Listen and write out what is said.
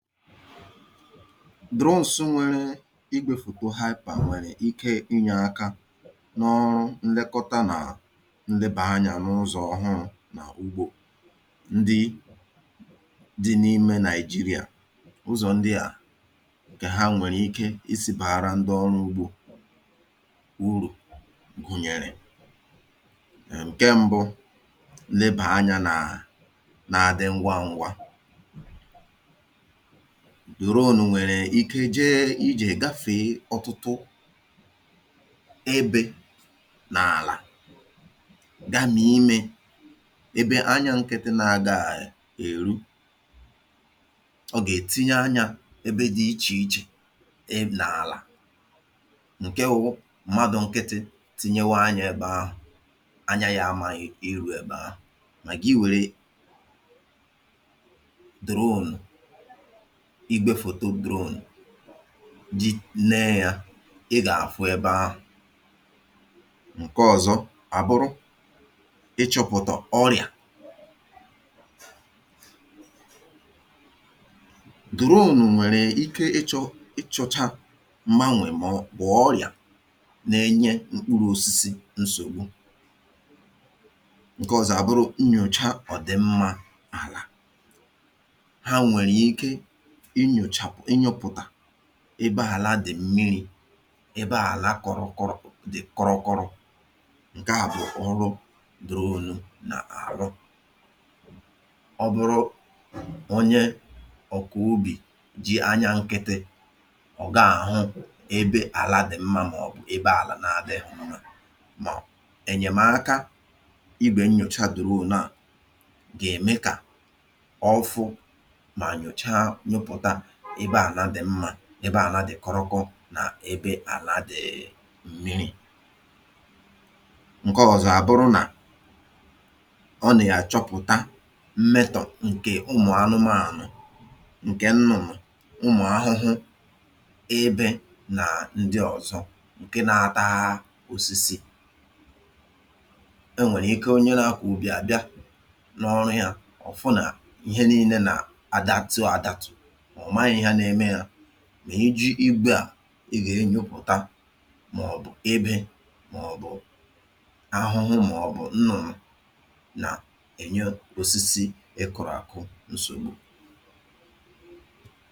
Drones nwere igwefoto haịpà nwèrè ike inye aka nà ọrụ nlekọta nà nleba anyȧ n’ụzọ̇ ọhụrụ̇ nà ugbȯ ndị dị n’ime nàịjirịa. Uzọ̀ ndị à kè ha nwèrè ike isi̇ pàhara ndị ọrụ̇ ugbȯ urù gùnyèrè: ǹke mbụ, nleba anyȧ nà àdị ngwa ngwa. Drones nwèrè ike jee ije gafèe ọtụtụ ebė n’àlà gamie imė ebe anyȧ nkị̇tị nà-àgaghi èru. Ọgà-ètinye anyȧ ebe dị̇ ichè ichè ebė n’àlà nkewụ̇ mmadụ̇ nkịtị̇ tinyewa anyȧ ebe ahụ̀ anya ya ama irù ebe ahụ̀, mà gị wère drones igwefoto drone jí neė yȧ ị gà-àfụ ebe ahụ̀. Ǹke ọ̀zọ àbụrụ, ị chọ̇pụ̀tà ọrị̀à. Drone nwèrè ike ị chọ̇ ị chọ̇chȧ m̀manwè mà ọ̀ bụ̀ ọrị̀à na-enye mkpụrụ osisi nsògbu. Ǹke ọ̀zọ àbụrụ nnyòcha ọ̀dị̀ mmȧ àlà. Ha nwere ike inyoputa ebe àla dị̀ mmiri̇, ebe àlà kọrọ kọrọ dị̀ kọrọkọro, nkè a bụ̀ ọrụ drones na aru. Ọ bụrụ onye ọ̀kọ̀ ubì jì anyȧ nkịtị, ị ọ̀ gaàhụ ebe àlà dị̇ mmȧ m'ọ̀bụ̀ ebe àlà na-adịghi mma mà ènyèmaka ibè nnyòchà drone nà gà ème kà ọfu ma nyochaa ebe àlà dị̀ mmà, ebe àlà dị̀ kọrọkọ̇ nà ebe àla dị̀ um mmiri̇. Ǹke ọ̀zọ àbụrụ nà ọ nà yà chọpụ̀ta mmetọ̀ ǹkè umù anụmȧànụ̀, ǹkè nnụnụ ,umù ahụhụ, ebe nà ndị ọ̀zọ ǹke na-àt[um]a osisi. E nwèrè ike onye làkwà ubì àbịa n’ọru yȧ ọ̀fụnà ihe nii̇lė nà adatị àdàtụ̀ mà omaghi ihe na eme ya ma iji̇ igwe a, i gà-enyupùta mà ọ̀ bụ̀ ebė mà ọ̀ bụ̀ ahụhụ mà ọ̀ bụ̀ nnụ̀rụ̀ nà-ènye osisi ị kụ̀rụ̀ àkụ nsògbu.